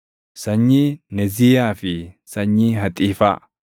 sanyii Neziiyaa fi sanyii Haxiifaa.